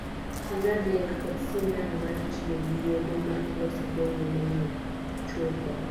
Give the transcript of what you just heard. Sindand ler kod sindan mar tiyo gi yedhe ma iloso Go yedhe mag chuopo.